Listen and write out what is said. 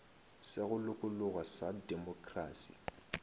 sa go lokologa sa demokrasi